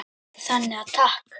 Þannig að takk.